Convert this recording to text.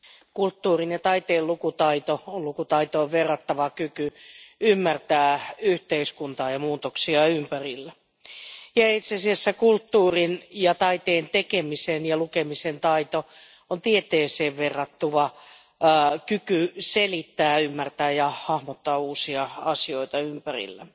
Arvoisa puhemies, kulttuurin ja taiteen lukutaito on lukutaitoon verrattava kyky ymmärtää yhteiskuntaa ja muutoksia ympärillä. Itse asiassa kulttuurin ja taiteen tekemisen ja lukemisen taito on tieteeseen verrattava kyky selittää, ymmärtää ja hahmottaa uusia asioita ympärillämme.